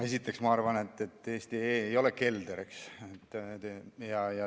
Esiteks, ma arvan, et eesti.ee ei ole kelder.